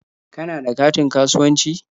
Kana da katin kasuwanci?